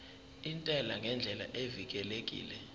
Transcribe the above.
intela ngendlela evikelekile